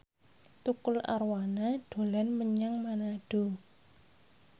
Tukul Arwana dolan menyang Manado